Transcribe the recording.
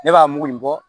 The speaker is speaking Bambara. Ne b'a mugu nin bɔ